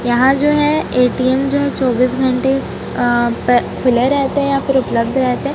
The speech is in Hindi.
यहां जो है ए_टी_एम जो है चौबीस घंटे अ प खुले रहते हैं या फिर उपलब्ध रहते हैं।